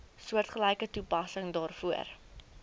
soortgelyke toepassing daarvoor